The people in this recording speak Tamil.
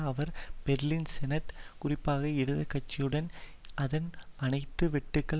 அவர் பெர்லின் செனட் குறிப்பாக இடது கட்சியுடன் அதன் அனைத்து வெட்டுக்கள்